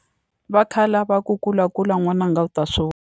Va khale a va ku kulakula n'wananga u ta swi .